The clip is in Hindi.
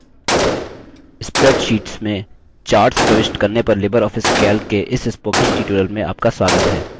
spreadsheets में charts प्रविष्ट करने पर लिबर ऑफिस calc के इस spoken tutorial में आपका स्वागत है